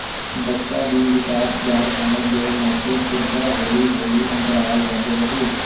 ਬੱਚਾ ਦੀ ਵਿਕਾਸ ਦਰ ਹੋਣ ਦੇ ਨਾਤੇ ਤੁਰਦਾ ਹੌਲੀ ਹੌਲੀ ਅੰਤਰਾਲ ਵੱਧ ਰਹੀ